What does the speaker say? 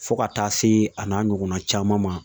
Fo ka taa se a n'a ɲɔgɔnna caman ma